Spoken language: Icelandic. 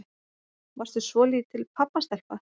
Varstu svolítil pabbastelpa?